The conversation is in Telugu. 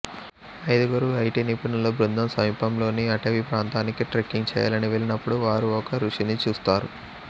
ఐదుగురు ఐటి నిపుణుల బృందం సమీపంలోని అటవీ ప్రాంతానికి ట్రెక్కింగ్ చేయాలని వెళ్ళినపుడు వారు ఒక ఋషిని చూస్తారు